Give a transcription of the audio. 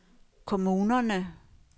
kommunerne